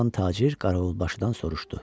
Cavan tacir Qaravulbaşıdan soruşdu.